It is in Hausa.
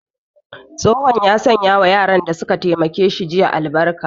Tsohon ya sanya wa yaran da su ka taimake shi jiya